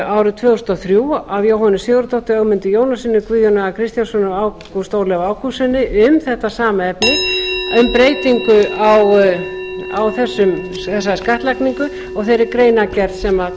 árið tvö þúsund og þrjú af jóhönnu sigurðardóttur ögmundi jónassyni guðjóni a kristjánssyni og ágúst ólafi ágústssyni um þetta sama efni um breytingu á þessari skattlagningu og þeirri greinargerð sem